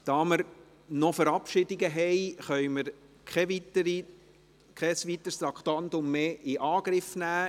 Da wir noch Verabschiedungen vorzunehmen haben, können wir kein weiteres Traktandum mehr in Angriff nehmen.